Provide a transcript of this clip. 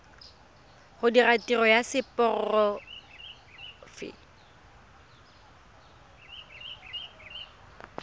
go dira tiro ya seporofe